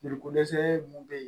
Joli ko dɛsɛ mun be yen